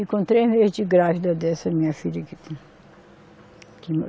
Encontrei a vez de grávida dessa minha filha.